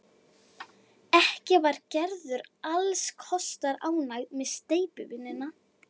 Ekki var Gerður alls kostar ánægð með steypuvinnuna.